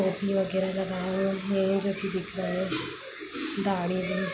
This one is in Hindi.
पेटी वगैहर का जो कि दिख रहा है दाढ़ी--